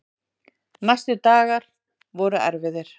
Næstu dagar voru erfiðir.